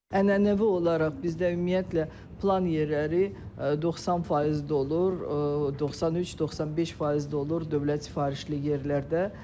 Ənənəvi olaraq bizdə ümumiyyətlə plan yerləri 90% dolur, 93-95% dolur dövlət sifarişli yerlərdə.